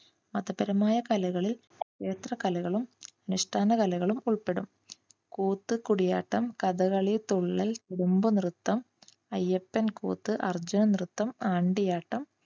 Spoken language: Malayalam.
മതപരമായ കലകളിൽ ക്ഷേത്ര കലകളും അനുഷ്ഠാന കലകളും ഉൾപ്പെടും. കൂത്ത്, കൂടിയാട്ടം, കഥകളി, തുള്ളൽ, കുടുംബ നൃത്തം, അയ്യപ്പൻ കൂത്ത്, അർജുന നൃത്തം, ആണ്ടിയാട്ടം,